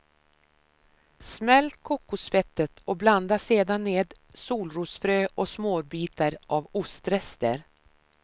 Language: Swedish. Smält kokosfettet och blanda sedan ner solrosfrö och småbitar av ostrester.